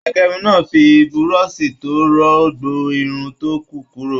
Agérun náà fí burọ̀sì to rọ gbọn irun to kù kúrò.